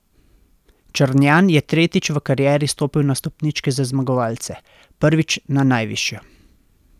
Črnjan je tretjič v karieri stopil na stopničke za zmagovalce, prvič na najvišjo.